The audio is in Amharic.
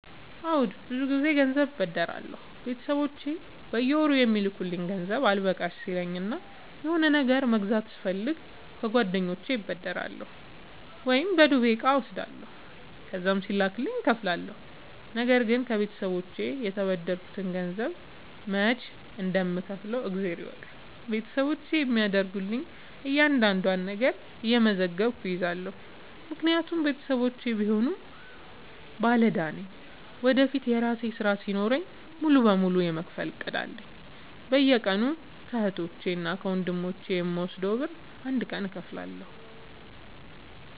አዎድ ብዙ ግዜ ገንዘብ አበደራለሁ ቤተሰቦቼ በየወሩ የሚልኩልኝ ገንዘብ አልበቃሽ ሲለኝ እና የሆነ ነገር መግዛት ስፈልግ ከጓደኞቼ እበደራለሁ። ወይም በዱቤ እቃ እወስዳለሁ ከዛም ሲላክልኝ እከፍላለሁ። ነገርግን ከቤተሰቦቼ የተበደርከትን ገንዘብ መች እንደም ከውፍለው እግዜር ይወቅ ቤተሰቦቼ የሚያደርጉልኝን እያንዳዷን ነገር እየመዘገብኩ እይዛለሁ። ምክንያቱም ቤተሰቦቼም ቢሆኑ ባለዳ ነኝ ወደፊት የራሴ ስራ ሲኖረኝ ሙሉ በሙሉ የመክፈል እቅድ አለኝ። በየቀኑ ከህቶቼ እና ከወንድሞቼ የምወስደውን ብር አንድ ቀን እከፍላለሁ።